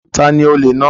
Ta ni olè náà?